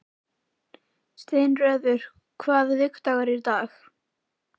Steinröður, hvaða vikudagur er í dag?